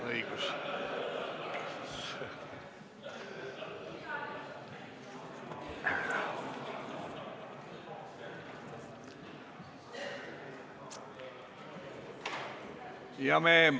Õigus!